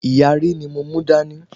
ìyàrí ni mo mú dání